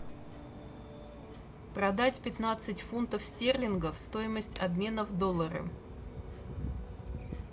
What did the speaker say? продать пятнадцать фунтов стерлингов стоимость обмена в доллары